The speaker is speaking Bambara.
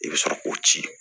I bɛ sɔrɔ k'o ci